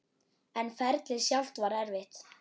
En ferlið sjálft var erfitt?